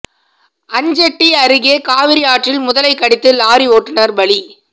அஞ்செட்டி அருகே காவிரி ஆற்றில் முதலை கடித்து லாரி ஓட்டுநா் பலி